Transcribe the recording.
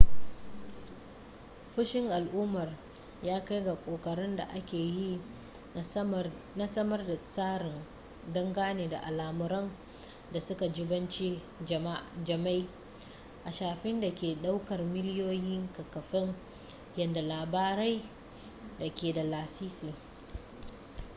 fushin al'ummar ya kai ga ƙoƙarin da ake yi na samar da tsari dangane da al'amuran da suka jibanci jima'i a shafin da ke daukar miliyoyin kafafen yada labarai da ke da lasisi